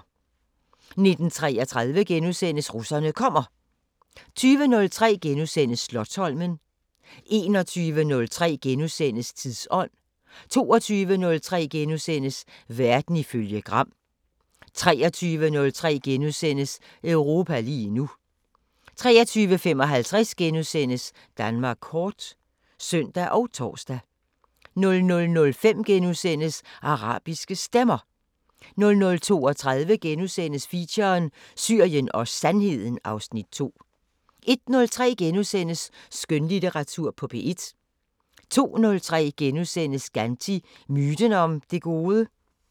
19:33: Russerne kommer * 20:03: Slotsholmen * 21:03: Tidsånd * 22:03: Verden ifølge Gram * 23:03: Europa lige nu * 23:55: Danmark kort *(søn og tor) 00:05: Arabiske Stemmer * 00:32: Feature: Syrien og Sandheden (Afs. 2)* 01:03: Skønlitteratur på P1 * 02:03: Gandhi – myten om det gode? *